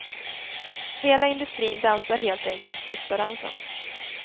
Hela industrin dansar helt enkelt sista dansen.